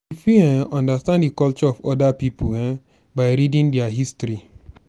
we fit um understand di culture of oda pipo um by reading their history